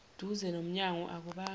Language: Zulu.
duze nomyango akubanga